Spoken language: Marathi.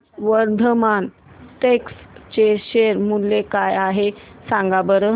आज वर्धमान टेक्स्ट चे शेअर मूल्य काय आहे सांगा बरं